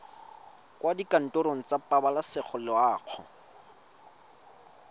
kwa dikantorong tsa pabalesego loago